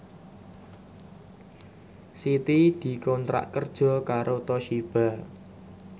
Siti dikontrak kerja karo Toshiba